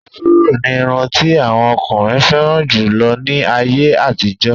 Áfúró ní irun ti àwọn ọkùnrin fẹ́ràn jù lọ ní àyè àtijọ́.